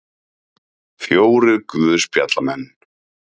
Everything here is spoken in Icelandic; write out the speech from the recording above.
Fjórir guðspjallamenn.